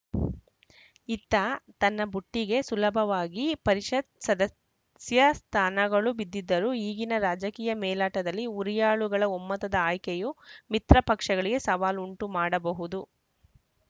ಇತ್ತ ತನ್ನ ಬುಟ್ಟಿಗೆ ಸುಲಭವಾಗಿ ಪರಿಷತ್‌ ಸದಸ್ಯ ಸ್ಥಾನಗಳು ಬಿದ್ದಿದ್ದರೂ ಈಗಿನ ರಾಜಕೀಯ ಮೇಲಾಟದಲ್ಲಿ ಹುರಿಯಾಳುಗಳ ಒಮ್ಮತದ ಆಯ್ಕೆಯೂ ಮಿತ್ರ ಪಕ್ಷಗಳಿಗೆ ಸವಾಲು ಉಂಟುಮಾಡಬಹುದು